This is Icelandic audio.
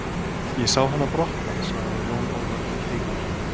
Ég sá hana brotna, svaraði Jón Ólafur keikur.